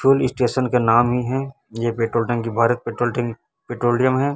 Fuel station का नाम ही हैं यह पेट्रोल टंकी भारत पेट्रोल टंकी पेट्रोलियम हैं।